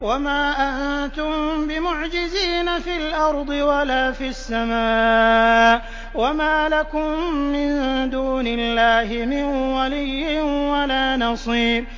وَمَا أَنتُم بِمُعْجِزِينَ فِي الْأَرْضِ وَلَا فِي السَّمَاءِ ۖ وَمَا لَكُم مِّن دُونِ اللَّهِ مِن وَلِيٍّ وَلَا نَصِيرٍ